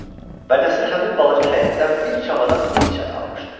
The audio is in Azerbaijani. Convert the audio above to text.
Və Nəsir həmin balaca həyətdən bir çamadan Hind çayı almışdı.